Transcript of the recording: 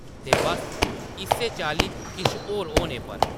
ते बस्स इस्सै चाल्ली किश होर होने पर ।